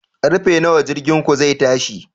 Karfe nawa jirginku zai tashi?